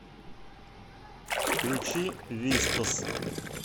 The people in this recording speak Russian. включи вистас